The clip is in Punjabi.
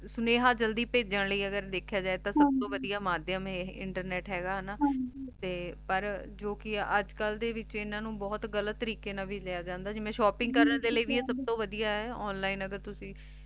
ਸਨੇਹਾ ਜਲਦੀ ਭੇਜਾਂ ਲੈ ਅਗਰ ਦੇਖ੍ਯਾ ਜੇ ਤਾਂ ਸਬ ਤੋਂ ਵਾਦਾ ਮਾਧ੍ਯਮ ਆਯ ਇੰਟਰਨੇਟ ਹੇਗਾ ਹਾਨਾ ਤੇ ਪਰ ਜੋ ਕੇ ਅਜੇ ਕਲ ਡੀ ਵਿਚ ਇਨਾਂ ਨੂ ਬੋਹਤ ਗਲਤ ਤਾਰਿਕ਼ੀ ਨਾਲ ਵੀ ਲਾਯਾ ਜਾਂਦਾ ਜਿਵੇਂ ਸ਼ੋਪ੍ਪਿੰਗ ਕਰਨ ਲੈ ਸਬ ਤੋਂ ਵਾਦਿਯ ਆਯ onine ਅਗਰ ਤੁਸੀਂ